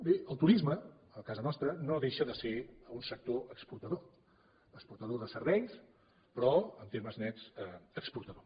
bé el turisme a casa nostra no deixa de ser un sector exportador exportador de serveis però en termes nets exportador